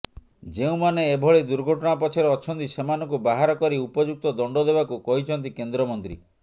ଯେଉଁମାନେ ଏଭଳି ଦୁର୍ଘଟଣା ପଛରେ ଅଛନ୍ତି ସେମାନଙ୍କୁ ବାହାରକରି ଉପଯୁକ୍ତ ଦଣ୍ଡ ଦେବାକୁ କହିଛନ୍ତି କେନ୍ଦ୍ରମନ୍ତ୍ରୀ